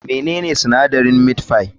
Menene sinadarin meat pie?